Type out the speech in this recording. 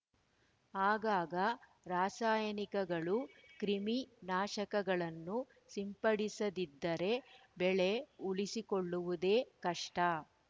ಆಗಾಗ ರಾಸಾಯನಿಕಗಳು ಕ್ರಿಮಿ ನಾಶಕಗಳನ್ನು ಸಿಂಪಡಿಸದಿದ್ದರೆ ಬೆಳೆ ಉಳಿಸಿಕೊಳ್ಳುವುದೇ ಕಷ್ಟ